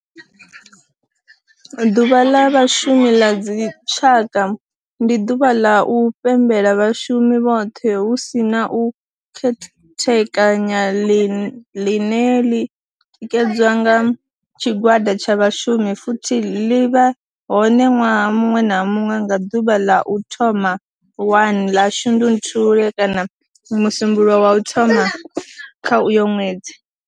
Ḓuvha la Vhashumi la dzi tshaka, ndi duvha la u pembela vhashumi vhothe hu si na u khethekanya line li tikedzwa nga tshigwada tsha vhashumi futhi li vha hone nwaha munwe na munwe nga duvha la u thoma 1 la Shundunthule kana musumbulowo wa u thoma kha uyo nwedzi.